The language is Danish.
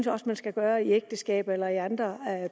også man skal gøre i ægteskabet eller i andre